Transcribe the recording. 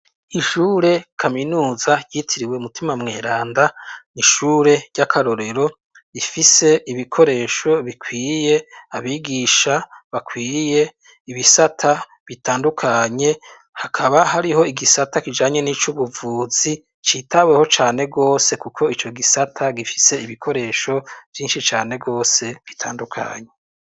Ishure kaminuza ryitiriwe mutima mweranda n'ishure ry'akarorero gifise ibikoresho bikwiye abigisha bakwiye ibisata bitandukanye hakaba hariho igisata kijanye n'ic'ubuvuzi citaweho cane rwose kuko ico gisata gifise ibikoresho byinshi cane gose gitandukanye.